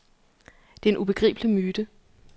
Det er en ubegribelig myte.